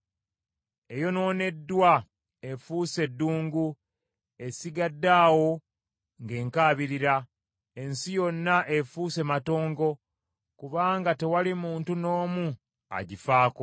Eyonooneddwa efuuse ddungu esigadde awo ng’enkaabirira. Ensi yonna efuuse matongo kubanga tewali muntu n’omu agifaako.